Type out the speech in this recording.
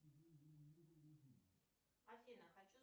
афина хочу